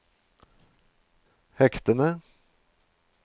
hektene